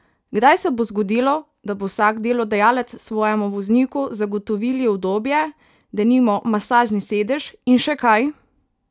Kdaj se bo zgodilo, da bo vsak delodajalec svojemu vozniku zagotovili udobje, denimo masažni sedež in še kaj?